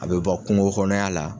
A bɛ bɔ kungo kɔnɔya la.